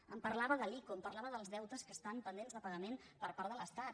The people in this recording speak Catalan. em parlava de l’ico em parlava dels deutes que estan pendents de pagament per part de l’estat